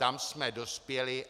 Tam jsme dospěli.